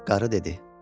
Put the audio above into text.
Qarı dedi: